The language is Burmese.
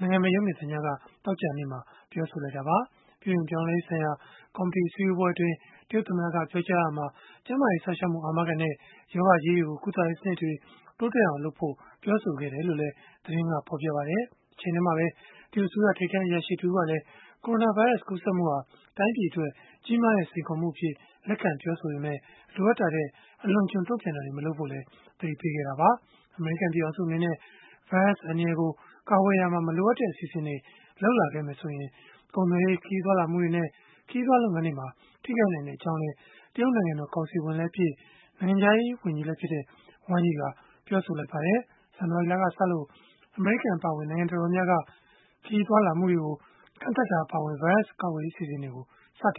နိုင်ငံပိုင်ရုပ်မြင်သံကြားက သောကြာနေ့မှာ ပြောဆိုလိုက်တာပါ။ ပြုပြင်ပြောင်းလဲရေးဆိုင်ရာ ကော်မတီအစည်းအဝေးအတွင်း တရုတ်သမ္မတက ပြောကြားရာမှာ ကျန်းမာရေး စောင့်ရှောက်မှု အာမခံနဲ့ ရောဂါကြီးတွေကို ကုသရေးစနစ်တွေ တိုးတက်အောင် လုပ်ဖို့လည်း ပြောဆိုခဲ့တယ်လို့လည်း သတင်းက ဖော်ပြပါတယ်။ တချိန်တည်းမှာပဲ တရုတ်အစိုးရ ထိပ်တန်း အရာရှိတဦးကလည်း ကိုရိုနာဗိုင်းရပ်စ် ကူးစက်မှုဟာ တိုင်းပြည်အတွက် ကြီးမားတဲ့ စိန်ခေါ်မှုအဖြစ် လက်ခံပြောဆိုခဲ့ပေမဲ့ လိုအပ်တာထက် အလွန်အကျွံ တုံ့ပြန်တာတွေ မလုပ်ဖို့လည်း သတိပေးခဲ့တာပါ။ အမေရိကန် ပြည်ထောင်စု အနေနဲ့ ဗိုင်းရပ်စ်အန္တရာယ်ကို ကာကွယ်ရာမှာ မလိုအပ်တဲ့ အစီအစဉ်တွေ လုပ်လာမယ်ဆိုရင် ကုန်သွယ်ရေး၊ ခရီးသွားလာမှုတွေနဲ့ ခရီးသွားလုပ်ငန်းတွေမှာ ထိခိုက်နိုင်ကြောင်းလည်း တရုတ်နိုင်ငံတော် ကောင်စီဝင်လည်းဖြစ်၊ နိုင်ငံခြားရေး ဝန်ကြီးလည်းဖြစ်တဲ့ Wang Yi ကပြောဆိုလိုက်ပါတယ်။ ဇန်နဝါရီလကစလို့ အမေရိကန် အပါအဝင် နိုင်ငံတော်တော်များများက ခရီးသွားလာမှုတွေကို ကန့်သတ်တာ အပါအဝင် ဗိုင်းရပ်စ်အန္တရာယ် ကာကွယ်ရေး အစီအစဉ်တွေကို စတင်